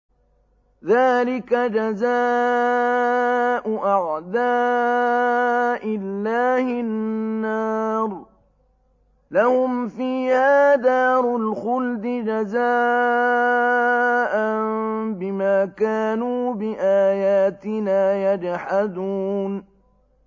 ذَٰلِكَ جَزَاءُ أَعْدَاءِ اللَّهِ النَّارُ ۖ لَهُمْ فِيهَا دَارُ الْخُلْدِ ۖ جَزَاءً بِمَا كَانُوا بِآيَاتِنَا يَجْحَدُونَ